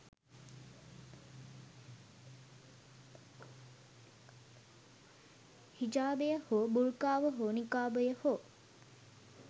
හිජාබය හෝ බුර්කාව හෝ නිකාබය හෝ